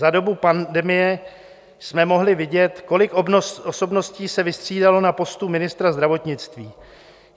Za dobu pandemie jsme mohli vidět, kolik osobností se vystřídalo na postu ministra zdravotnictví.